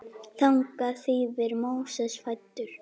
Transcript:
Þannig þýðir Móses fæddur.